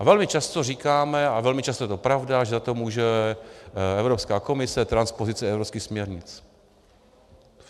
A velmi často říkáme, a velmi často je to pravda, že za to může Evropská komise, transpozice evropských směrnic.